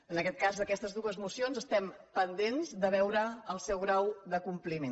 en aquest cas d’aquestes dues mocions estem pendents de veure el seu grau de compliment